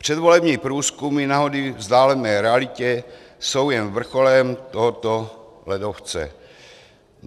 Předvolební průzkumy na hony vzdálené realitě jsou jen vrcholem tohoto ledovce.